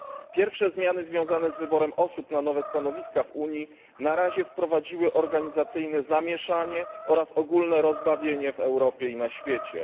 Pierwsze zmiany związane z wyborem osób na nowe stanowiska w Unii na razie wprowadziły organizacyjne zamieszanie oraz ogólne rozbawienie w Europie i na świecie.